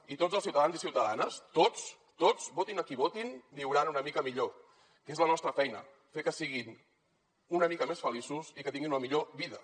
i tots els ciutadans i ciutadanes tots tots votin a qui votin viuran una mica millor que és la nostra feina fer que siguin una mica més feliços i que tinguin una millor vida